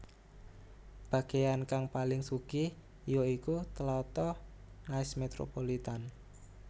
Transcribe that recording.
Bagéan kang paling sugih ya iku tlatah Nice metropolitan